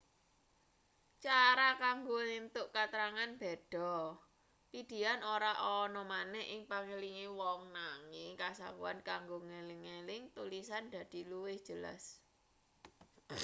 cara kanggo entuk katrangan beda pidihan ora ana maneh ing pangelinge wong nanging kasaguhan kanggo ngeling-eling tulisan dadi luwih jelas